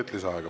Aitäh!